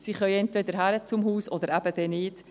Sie können entweder hin zum Haus oder dann eben nicht.